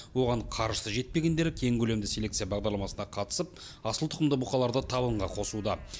оған қаржысы жетпегендері кең көлемді селекция бағдарламасына қатысып асыл тұқымды бұқаларды табынға қосуда